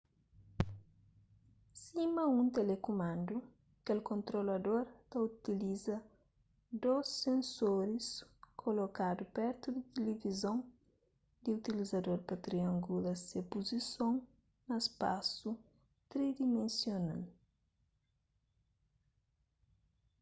sima un telekumandu kel kontrolador ta utiliza dôs sensoris kolokadu pertu di tilivizon di utilizador pa triangula se puzison na spasu tridimensional